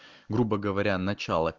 грубо говоря начало